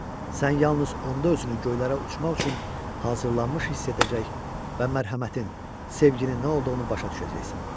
Sən yalnız onda özünü göylərə uçmaq üçün hazırlanmış hiss edəcək və mərhəmətin, sevginin nə olduğunu başa düşəcəksən.